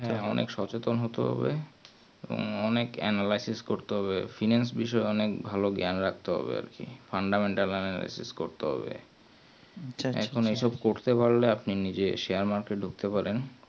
হ্যাঁ অনেক স্বচেতন হতে হবে অনেক analysis করতে হবে finance বিষয় অনেক জ্ঞান রাখতে হবে আর কি